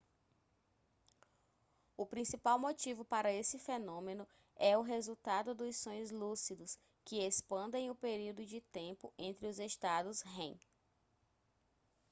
o principal motivo para esse fenômeno é o resultado dos sonhos lúcidos que expandem o período de tempo entre os estados rem